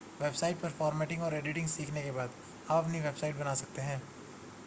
website पर formatting और editing सीखने के बाद आप अपनी वेबसाइट बना सकते हैं